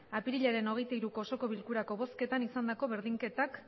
apirilaren hogeita hiruko osoko bilkurako bozketan izandako berdinketak